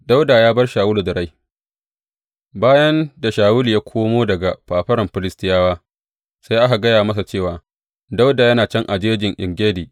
Dawuda ya bar Shawulu da rai Bayan da Shawulu ya komo daga fafaran Filistiyawa, sai aka gaya masa cewa, Dawuda yana can a Jejin En Gedi.